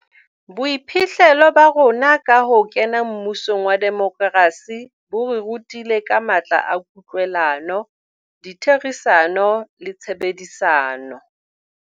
Boiphihlelo ba rona ka ho kena mmusong wa demokrasi bo re rutile ka matla a kutlwelano, ditherisano le tshebedisano.